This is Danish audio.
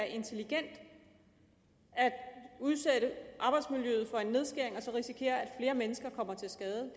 intelligent at udsætte arbejdsmiljøet for en nedskæring og så risikere at flere mennesker kommer til skade